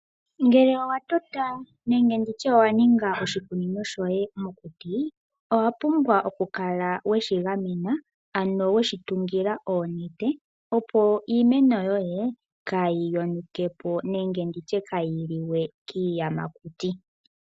Ngele owa tota nenge ndi tye owa ninga oshikunino shoye mokuti, owa pumbwa oku kala weshigamena ano weshi tungila oonete, opo iimeno yoye kayi yonuke po nenge nditye kayi liwe kiiyamakuti.